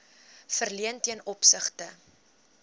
verleen ten opsigte